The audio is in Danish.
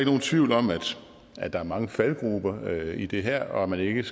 nogen tvivl om at der er mange faldgruber i det her og at man ikke